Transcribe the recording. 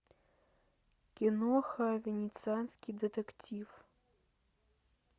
киноха венецианский детектив